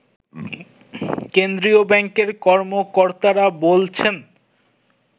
কেন্দ্রীয় ব্যাংকের কর্মকর্তারা বলছেন